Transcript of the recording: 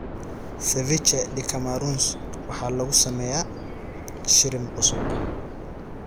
Ceviche de camarones waxaa lagu sameeyaa shrimp cusub.